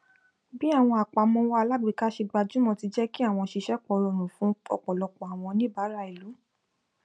bí àwọn apàmọwọ alágbèéká ṣe gbajúmọ ti jẹ kí àwọn ṣíṣèpọ rọrùn fún ọpọlọpọ àwọn oníbàárà ìlú